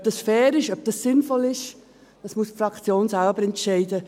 Ob das fair ist, ob das sinnvoll ist, muss die Fraktion selbst entscheiden.